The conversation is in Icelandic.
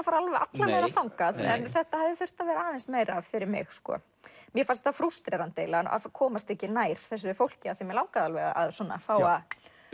fara alla leiðina þangað en þetta hefði þurft að vera aðeins meira fyrir mig mér fannst frústrerandi að komast ekki nær þessu fólki af því mig langaði alveg að svona fá að